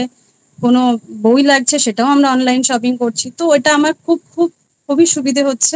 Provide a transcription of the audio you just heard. কোনো বই লাগছে সেটাও আমরা Online Shopping করছি তো ওটা আমার খুব খুব খুবই সুবিধে হচ্ছে